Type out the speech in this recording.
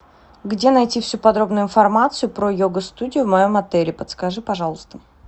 где найти всю подробную информацию про йога студию в моем отеле подскажи пожалуйста